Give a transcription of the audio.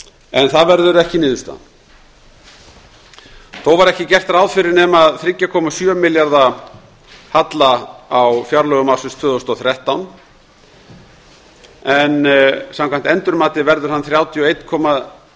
en það verður ekki niðurstaðan þó var ekki gert ráð fyrir nema þrjú komma sjö milljarða halla á fjárlögum ársins tvö þúsund og þrettán en samkvæmt endurmati verður hann þrjátíu og einn komma